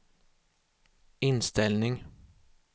inställning